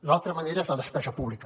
l’altra manera és la despesa pública